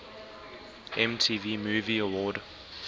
mtv movie award